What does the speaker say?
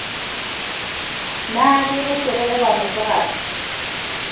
na ke bošego goba mosegare